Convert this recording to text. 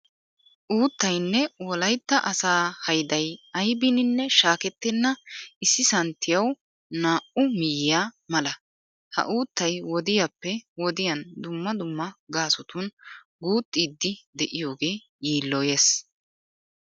Uuttaynne wolaytta asaa hayday aybiininne shaakettenna issi santtiyawu naa"u miyyiya mala. Ha uuttay wodiyappe wodiyan dumma dumma gaasotun guuxxiiddi de'iyogee yiilloyees.